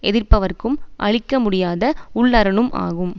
எதிர்ப்பவர்க்கும் அழிக்க முடியாத உள்ளரணும் ஆகும்